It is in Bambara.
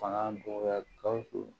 Fanga bonya gawusu